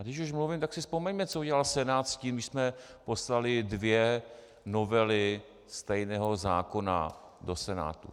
A když už mluvím, tak si vzpomeňme, co udělal Senát s tím, když jsme poslali dvě novely stejného zákona do Senátu.